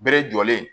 Bere jɔlen